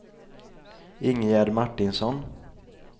Ingegärd Martinsson